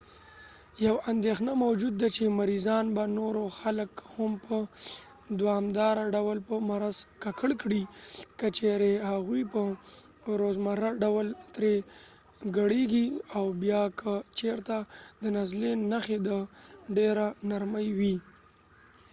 یوه اندیښنه موجود ده چې مریضان به نورو خلک هم په دوامداره ډول په مرض ککړ کړي که چیرې هغوی په روزمره ډول ترې کړېږي او بیا که چیرته د نزلې نښې تر ډیره نرمې وي